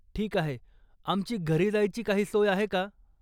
ठीक आहे, आमची घरी जायची काही सोय आहे का?